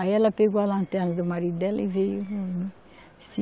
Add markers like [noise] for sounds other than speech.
Aí ela pegou a lanterna do marido dela e veio. [unintelligible]